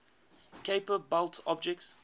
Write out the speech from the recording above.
kuiper belt objects